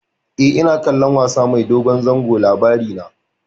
E, ina kallon wasa mai dogon zango Labarina.